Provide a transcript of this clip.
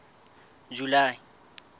july